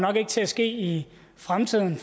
til at ske i fremtiden